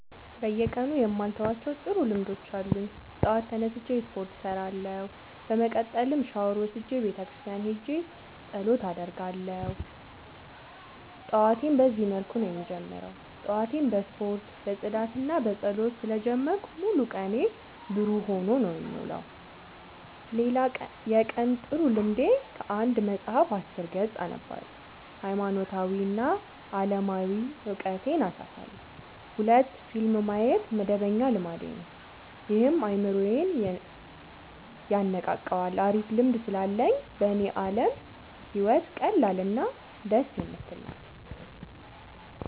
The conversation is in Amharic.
በየቀኑ የማልተዋቸው ጥሩ ልምዶች አሉኝ ጠዋት ተነስቼ ስፓርት እሰራለሁ። በመቀጠልም ሻውር ወስጄ ቤተክርስቲያን ሄጄ ፀሎት አደርጋለሁ ጠዋቴን በዚህ መልኩ ነው የምጀምረው። ጠዋቴን በስፖርት በፅዳትና በፀሎት ስለ ጀመርኩት ሙሉ ቀኔ ብሩህ ሆኖ ነው የምውለው። ሌላ የቀን ጥሩ ልምዴ ከአንድ መፀሀፍ አስር ገፅ አነባለሁ ሀይማኖታዊ እና አለማዊ እውቀቴን አሰፋለሁ። ሁለት ፊልም ማየት መደበኛ ልማዴ ነው ይህም አይምሮዬን የነቃቃዋል አሪፍ ልምድ ስላለኝ በኔ አለም ህይወት ቀላል እና ደስ የምትል ናት።